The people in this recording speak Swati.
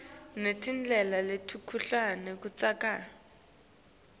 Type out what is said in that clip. netindlela letehlukene kutsi